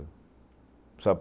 Sabe